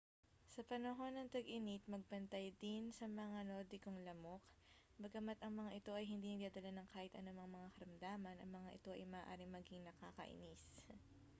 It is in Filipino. sa panahon ng tag-init magbantay din sa mga nordikong lamok bagama't ang mga ito ay hindi nagdadala ng kahit anumang mga karamdaman ang mga ito ay maaaring maging nakakainis